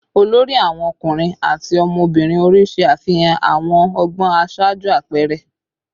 olori awon ọkunrin ati ọmọbirin ori ṣe afihan awọn ọgbọn aṣaaju apẹẹrẹ